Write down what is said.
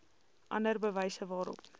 ander bewyse waarop